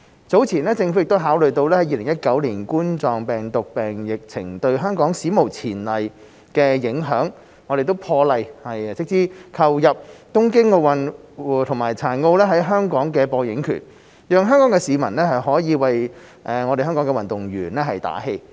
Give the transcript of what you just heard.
早前，政府考慮到2019冠狀病毒病疫情對香港史無前例的影響，破例斥資購入東京奧運和殘奧在香港的播映權，讓香港市民可以為香港運動員打氣。